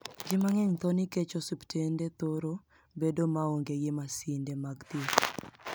Ji manigeniy tho niikech osuptenide thoro bedo maonige gi masinide mag thieth.